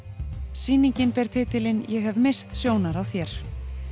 sýningin ber titilinn ég hef misst sjónar á þér